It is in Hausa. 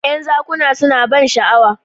"yan zakuna suna ban sha'awa